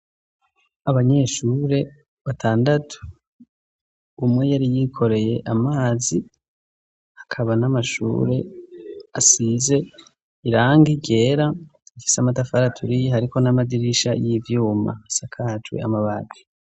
abanyeshure batandatu umwe yari yikoreye amazi akaba n'amashure asize irangi ryera ifise amatafari aturiye hariko n'amadirisha y'ivyuma asakajwe amabati